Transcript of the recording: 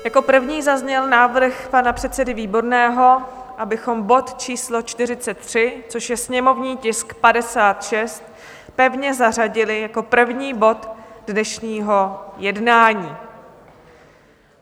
Jako první zazněl návrh pan předsedy Výborného, abychom bod číslo 43, což je sněmovní tisk 56, pevně zařadili jako první bod dnešního jednání.